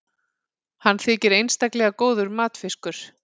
hann þykir einstaklega góður matfiskur